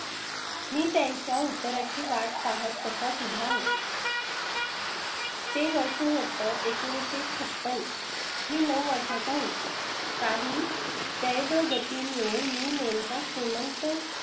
मी त्यांच्या उत्तरा ची वाट पाहत तसाच उभा होतो. ते वर्ष होतं एकोणावीस सो छपन्न मी नऊ वर्षांचा होतो. काही दैवगती मुळे मी नेमका श्रीमंत